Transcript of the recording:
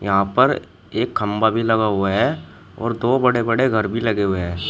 यहां पर एक खंभा भी लगा हुआ है और दो बड़े बड़े घर भी लगे हुए हैं।